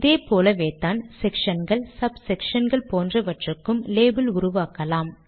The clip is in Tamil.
இதே போலவேத்தான் செக்ஷன்கள் சப் செக்ஷன்கள் போன்றவற்றுக்கும் லேபிள் உருவாக்கலாம்